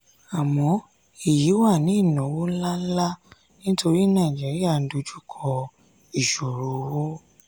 àmọ́ èyí wá ní ìnáwó ńláǹlà nítorí nàìjíríà ń dojú kọ ìṣòro owó.